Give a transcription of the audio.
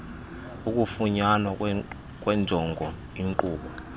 ukufunyanwa kwenjongo inqobo